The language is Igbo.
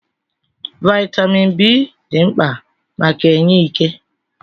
Vaịtamin B dị mkpa maka enye ike.